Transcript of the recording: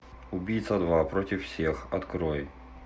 убийца два против всех открой